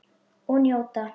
Og njóta.